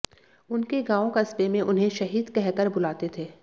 उनके गांव कस्बे में उन्हें शहीद कह कर बुलाते थे